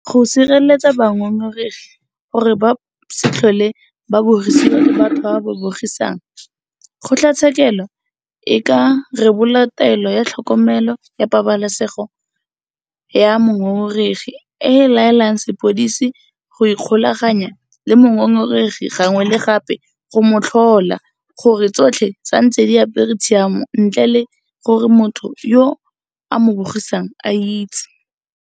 Go sireletsa bangongoregi gore ba se tlhole ba bogisiwa ke batho ba ba ba bogisang, kgotlatshekelo e ka rebola Taelo ya Tlhokomelo ya Pabalesego ya Mongongoregi e e laelang sepodisi go ikgolaganya le mongongoregi gangwe le gape go mo tlhola gore tsotlhe di santse di apere tshiamo ntle le gore motho yo a mo bogisang a itse.